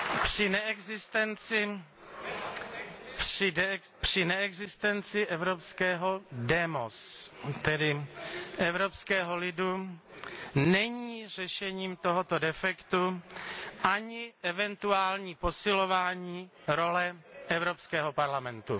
Při neexistenci evropského demos, tedy evropského lidu, není řešením tohoto defektu ani eventuální posilování role Evropského parlamentu.